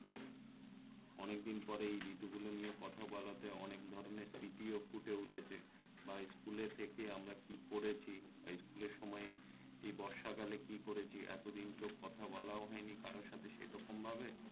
অনেকদিন পরে এই ঋতুগুলো নিয়ে কথা বলাতে অনেক ধরণের স্মৃতিও ফুটে উঠেছে বা স্কুলে থেকে আমরা কি করেছি বা স্কুলের সময়ে এই বর্ষা কালে কি করেছি এতদিন তো কথা বলাও হয়নি কারো সাথে সেরকম ভাবে